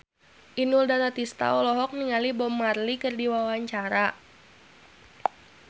Inul Daratista olohok ningali Bob Marley keur diwawancara